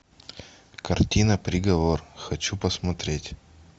картина приговор хочу посмотреть